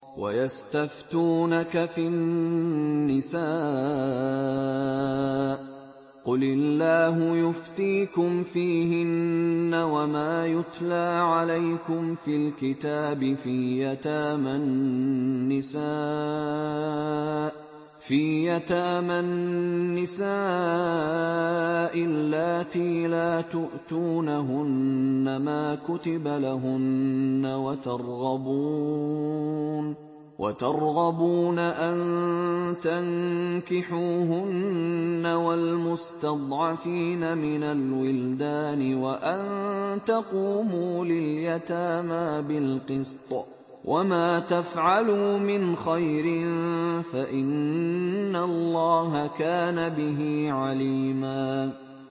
وَيَسْتَفْتُونَكَ فِي النِّسَاءِ ۖ قُلِ اللَّهُ يُفْتِيكُمْ فِيهِنَّ وَمَا يُتْلَىٰ عَلَيْكُمْ فِي الْكِتَابِ فِي يَتَامَى النِّسَاءِ اللَّاتِي لَا تُؤْتُونَهُنَّ مَا كُتِبَ لَهُنَّ وَتَرْغَبُونَ أَن تَنكِحُوهُنَّ وَالْمُسْتَضْعَفِينَ مِنَ الْوِلْدَانِ وَأَن تَقُومُوا لِلْيَتَامَىٰ بِالْقِسْطِ ۚ وَمَا تَفْعَلُوا مِنْ خَيْرٍ فَإِنَّ اللَّهَ كَانَ بِهِ عَلِيمًا